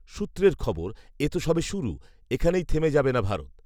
সূত্রের খবর, এত সবে শুরু৷ এখানেই থেমে যাবে না ভারত৷